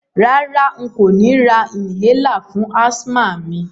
Rárá, n kò ni ra inhaler fún asthma mi